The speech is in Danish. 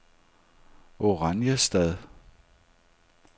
Oranjestad